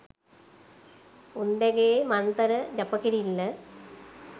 උන්දැගෙ මන්තර ජප කිරිල්ල